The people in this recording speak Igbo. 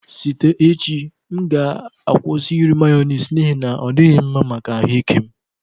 Site echi m ga-akwụsị iri Mayonezi n'ihi na ọ dịghị mma maka ahụ ike m